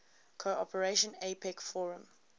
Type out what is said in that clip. cooperation apec forum